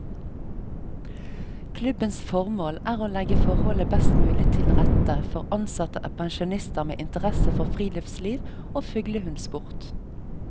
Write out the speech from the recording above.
Klubbens formål er å legge forholdene best mulig til rette for ansatte og pensjonister med interesse for friluftsliv og fuglehundsport.